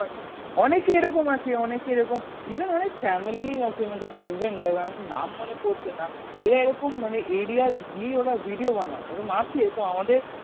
অনেকই এরকম আছে অনেকে এরকম Even অনেক Family আছে মনে কর Husband wife আমার নাম মনে পড়ছেনা এরা এরকম মানে Areas গিয়ে ওরা Video বানায় এরম আছে এরকম অনেক আমাদের